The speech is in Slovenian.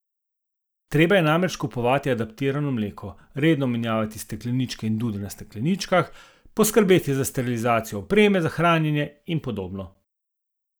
Treba je namreč kupovati adaptirano mleko, redno menjavati stekleničke in dude na stekleničkah, poskrbeti za sterilizacijo opreme za hranjenje in podobno.